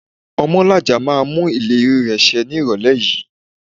Omolaja máa mú ìlérí rẹ ṣe ní ìrólé yìí